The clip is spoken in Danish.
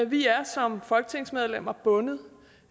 vi er som folketingsmedlemmer bundet